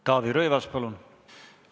Taavi Rõivas, palun!